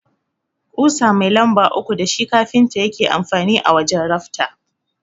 Ƙusa mai lamba uku dashi kafinta yake amfani a wajan rafta.